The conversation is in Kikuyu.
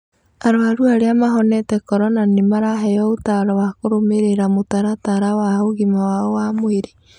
Arwaru arĩa mahonete Corona nĩ maraheo ũtaaro wa kũrũmĩrĩra mũtaratara wa ũgima wao wa mwĩrĩ.